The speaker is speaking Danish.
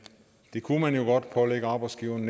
kunne jo godt pålægge arbejdsgiverne